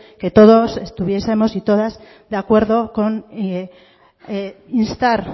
que todos y todas estuviesemos de acuerdo con instar